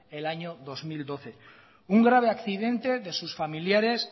el año dos mil doce un grave accidente de sus familiares